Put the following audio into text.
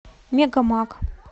мегамаг